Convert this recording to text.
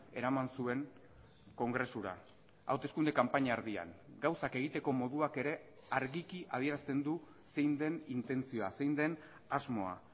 eraman zuen kongresura hauteskunde kanpaina erdian gauzak egiteko moduak ere argiki adierazten du zein den intentzioa zein den asmoa